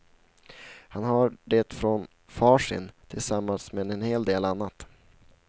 Han har det från far sin, tillsammans med en hel del annat.